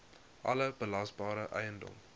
alle belasbare eiendom